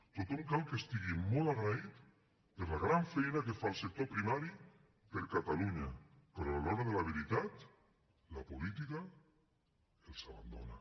tothom cal que estigui molt agraït per la gran feina que fa el sector primari per a catalunya però a l’hora de la veritat la política els abandona